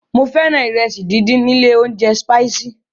Mo fẹ́ràn ìrẹsì díndín ilé óúnjẹ Spices.